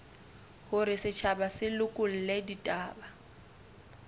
hore setjhaba se lekole ditaba